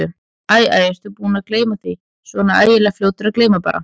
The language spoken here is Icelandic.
Æ, æ, ertu búinn að gleyma því. svona æðislega fljótur að gleyma bara.